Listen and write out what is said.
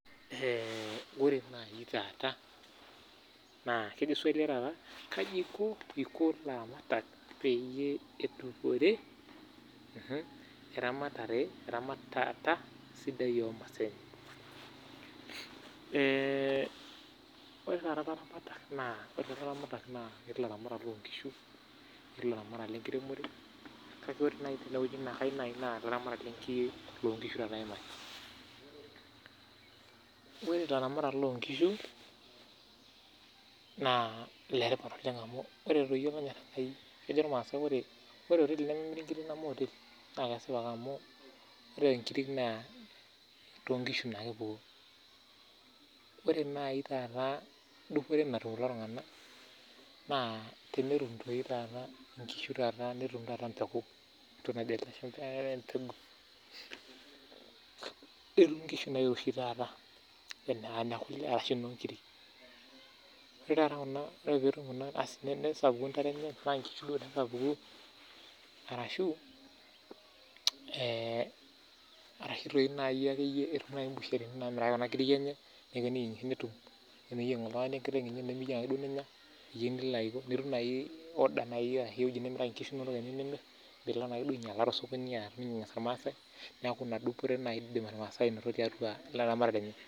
Ore taata ilaramatak naa ketii ilatamatak loongishu ketii ilaramatak lenkiremore kake ayieu naa ilaramatak loongishu aimaki Ore ilaramatak loongishu naa iletipat oleng amu ore toi oleng amu ore olonyor Enkai kejo ilamaasai ore oteli nemeetii ingiri neme oteli naa kesipa ake amu ore nkiri naa toonkishu naa ake epuonu Ore naai taata dupore natum kulo tung'anak naa tenetum inkishu taata Netumi inkishu nairoshi taata enaa inekule ashu nkiri Ore taata tenetum kuna nesapuku inkishu enye tenaa ingishu duo naapuku arashu imbusherhi naamirieki kuna kiri enye teneyieng iltungani enkiteng enye nemeyieu ake duo nenya nitum naai order nimiraki inkishu teniyieu nimir piilo naake duo ainyala tosokoni ilmaasai niaku ina dupore duo naai naasa tiaua ilaramatak lenye